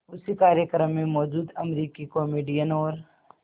उसी कार्यक्रम में मौजूद अमरीकी कॉमेडियन और